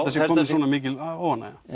það sé komin svona mikil óánægja